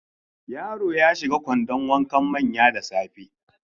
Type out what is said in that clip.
Yaro ya shiga kwandon wankan manya da safe.